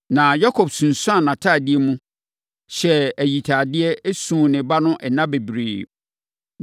Na Yakob sunsuanee ne ntadeɛ mu, hyɛɛ ayitadeɛ, suu ne ba no nna bebree.